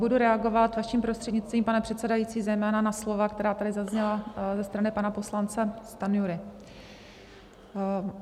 Budu reagovat, vaším prostřednictvím, pane předsedající, zejména na slova, která tady zazněla ze strany pana poslance Stanjury.